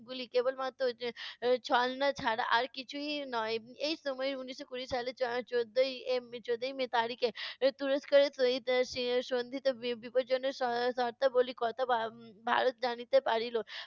গুলি কেবলমাত্র ছলনা ছাড়া আর কিছুই নয়। এই সময় উনিশশো কুড়ি সালের চ~ চৌদ্দই এর চৌদ্দই মে তারিখে এর তুরস্কের সহিত স~ সন্ধির বিপদজনক শর্তাবলীর কথা ভা~ ভারত জানিতে পারিলো।